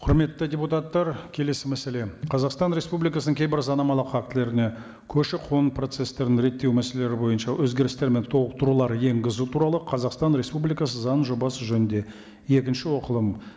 құрметті депутаттар келесі мәселе қазақстан республикасының кейбір заңнамалық актілеріне көші қон процесстерін реттеу мәселелері бойынша өзгерістер мен толықтырулар енгізу туралы қазақстан республикасы заңының жобасы жөнінде екінші оқылым